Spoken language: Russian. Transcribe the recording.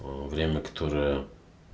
время которое